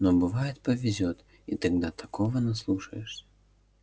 но бывает повезёт и тогда такого наслушаешься